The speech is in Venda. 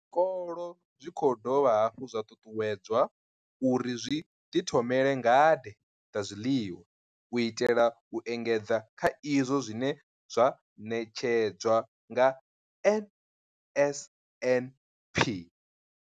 Zwikolo zwi khou dovha hafhu zwa ṱuṱuwedzwa uri zwi ḓithomele ngade dza zwiḽiwa u itela u engedza kha izwo zwine zwa ṋetshedzwa nga NSNP.